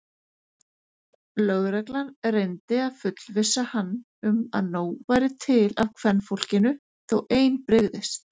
Lögreglan reyndi að fullvissa hann um að nóg væri til af kvenfólkinu þó ein brygðist.